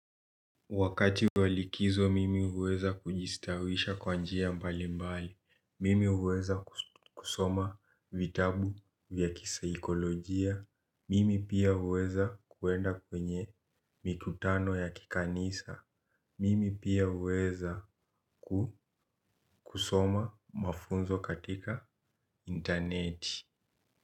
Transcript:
Wakati walikizo mimi uweza kujistawisha kwa njia mbali mbali, mimi uweza kusoma vitabu vya kisaikolojia, mimi pia uweza kuwenda kwenye mikutano ya kikanisa, mimi pia uweza kusoma mafunzo katika interneti.